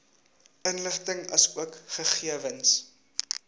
inligting asook gegewens